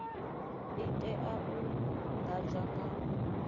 i tea u ḓadzwa nga